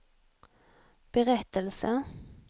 berättelse